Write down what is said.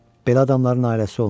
Belə adamların ailəsi olmur.